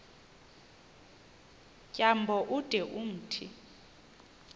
tyambo ude umthi